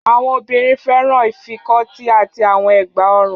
Àwọn obìnrin fẹ́ràn ìfikọ́tí àti àwọn ẹ̀gbá-ọrùn.